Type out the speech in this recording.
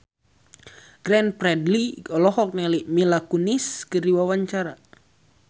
Glenn Fredly olohok ningali Mila Kunis keur diwawancara